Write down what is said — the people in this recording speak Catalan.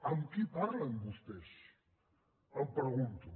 amb qui parlen vostès em pregunto